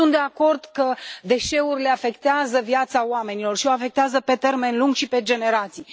Sunt de acord că deșeurile afectează viața oamenilor și o afectează pe termen lung și pe generații.